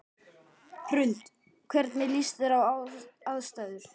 Hrund: Hvernig líst þér á aðstæður?